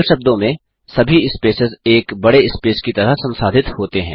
सरल शब्दों में सभी स्पेसेस एक बड़े स्पेस की तरह संसाधित होते हैं